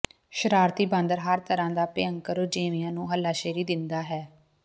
ਸ਼ਰਾਰਤੀ ਬਾਂਦਰ ਹਰ ਤਰ੍ਹਾਂ ਦਾ ਭਿਅੰਕਰ ਰੁਝੇਵਿਆਂ ਨੂੰ ਹੱਲਾਸ਼ੇਰੀ ਦਿੰਦਾ ਹੈ